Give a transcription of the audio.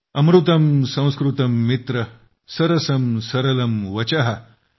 अमृतम् संस्कृतम् मित्र सरसम् सरलम् वचः ।